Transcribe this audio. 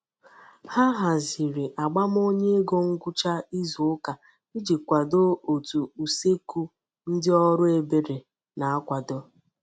Ha haziri agbamonyaego ngwucha izu uka iji kwado otu usekeu ndi oru ebere na-akwado